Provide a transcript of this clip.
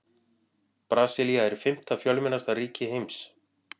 Brasilía er fimmta fjölmennasta ríki heims.